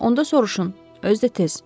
Onda soruşun, özü də tez.